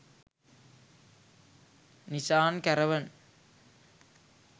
nisan caravan